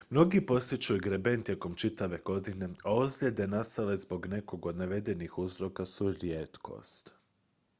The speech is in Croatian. mnogi posjećuju greben tijekom čitave godine a ozljede nastale zbog nekog od navedenih uzroka su rijetkost